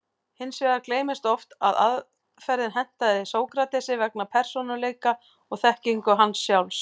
Hins vegar gleymist oft að aðferðin hentaði Sókratesi vegna persónuleika og þekkingar hans sjálfs.